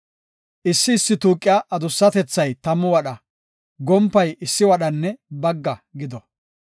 Issi issi tuuqiya adussatethay tammu wadha, gompay issi wadhanne bagga gido.